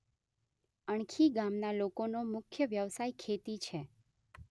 અણખી ગામના લોકોનો મુખ્ય વ્યવસાય ખેતી છે.